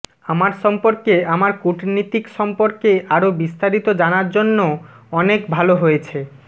আমার সম্পর্কে আমার কূটনীতিক সম্পর্কে আরো বিস্তারিত জানার জন্য অনেক ভাল হয়েছে